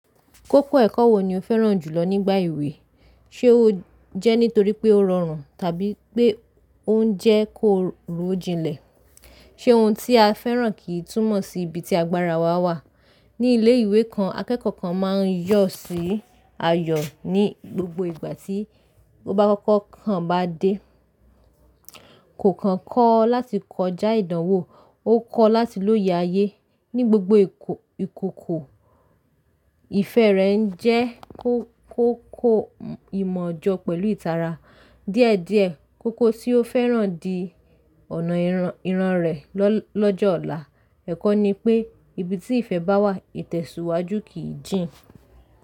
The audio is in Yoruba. Kókó ẹ̀kọ́ wo ni o fẹ́ràn jùlọ nígbà ìwé? Ṣé ó jẹ́ nítorí pé ó rọrùn tàbí pé ó ń jẹ́ kó rò jinlẹ̀? Ṣé ohun tí a fẹ́ràn kì í túmọ̀ sí ibi tí agbára wa wà? Ní ilé ìwé kan, akẹ́kọ̀ọ́ kan máa ń yọ̀ sí ayọ̀ ní gbogbo ìgbà tí ó bá kọ́kọ́ kàn bá dé. Kò kan kọ́ láti kọjá ìdánwò, ó kọ́ láti lóye ayé. Ní gbogbo ìkòkò, ìfẹ́ rẹ̀ ń jẹ́ kó kóko ìmọ̀ jọ̀ pẹ̀lú ìtara. Díẹ̀ díẹ̀, kókó tí ó fẹ́ràn di ọ̀nà ìran rẹ̀ lọ́jọ́ ọ̀la. Ẹ̀kọ́ ni pé, ibi tí ìfẹ́ bá wà, ìtẹ̀síwájú kìi jìn.